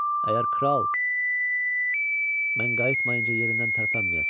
Əgər kral mən qayıtmayınca yerindən tərpənməyəsən.